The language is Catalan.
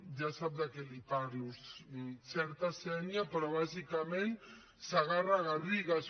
ja sap de què li parlo xerta sénia però bàsicament segarra garrigues